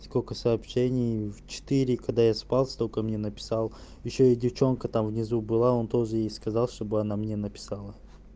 сколько сообщений в четыре и когда я спал с только мне написал ещё и девчонка там внизу была он тоже есть сказал чтобы она мне написала